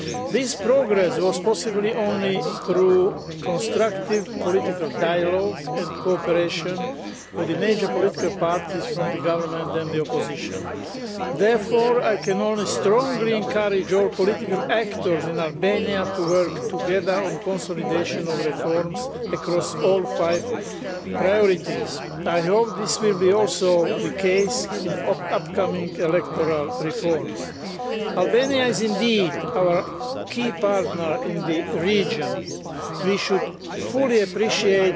This progress was possible only through constructive political dialogue and cooperation with all the major political parties from the government and the opposition. Therefore, I can only strongly encourage all political actors in Albania to work together on the consolidation of reforms across all five priorities. I hope this will be also the case in upcoming electoral reforms. Albania is indeed our key partner in the region. We should fully appreciate